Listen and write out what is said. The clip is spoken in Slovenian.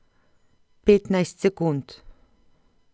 Petnajst sekund!